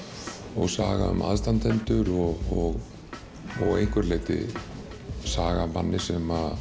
og saga um aðstandendur og og að einhverju leyti saga um mann sem